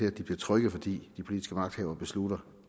at de bliver trygge fordi de politiske magthavere beslutter